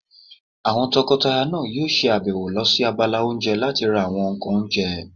Àwọn tọkọtaya náà yóò ṣe àbẹ̀wò lọ sí abala oúnjẹ láti ra àwọn ǹkan oúnjẹ